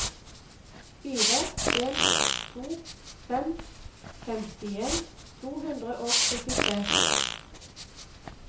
fire en to fem femtien to hundre og syttitre